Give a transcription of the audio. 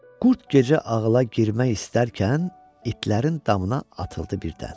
Qurd gecə ağıla girmək istərkən, itlərin damına atıldı birdən.